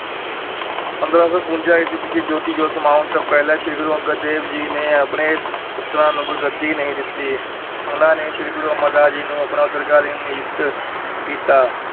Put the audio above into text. ਪੰਦਰਾਂ ਸੌ ਬਵੰਜਾ ਈਸਵੀ ਵਿੱਚ ਜੋਤੀ-ਜੋਤ ਸਮਾਉਂਣ ਤੋਂ ਪਹਿਲਾਂ ਸ੍ਰੀ ਗੁਰੂ ਅੰਗਦ ਦੇਵ ਜੀ ਨੇ ਆਪਣੇ ਪੁੱਤਰਾਂ ਨੂੰ ਗੁਰਗੱਦੀ ਨਹੀਂ ਦਿੱਤੀ, ਉਹਨਾਂ ਨੇ ਸ੍ਰੀ ਗੁਰੂ ਅਮਰਦਾਸ ਜੀ ਨੂੰ ਆਪਣਾ ਉੱਤਰਾਧਿਕਾਰੀ ਨਿਯੁਕਤ ਕੀਤਾ।